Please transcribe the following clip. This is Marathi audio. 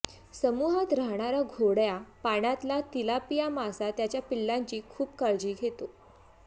समूहात राहणारा गोड्या पाण्यातला तिलापिया मासा त्याच्या पिल्लांची खूप काळजी घेतो